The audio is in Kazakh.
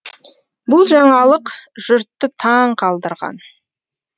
бұл жаңалық жұртты таң қалдырған